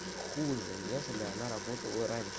хуже нежели она работала раньше